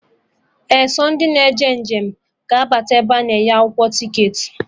Ee, sọ ndị na eje njem ga abata ebe a na-enye akwụkwọ ticketị